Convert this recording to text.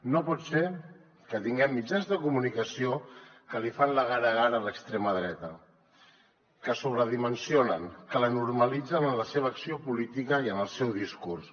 no pot ser que tinguem mitjans de comunicació que li fan la gara gara a l’extrema dreta que la sobredimensionen que la normalitzen en la seva acció política i en el seu discurs